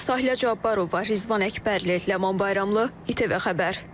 Sahilə Cabbarova, Rizvan Əkbərli, Ləman Bayramlı, İTV Xəbər.